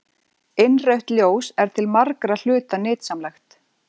Innrautt ljós er til margra hluta nytsamlegt.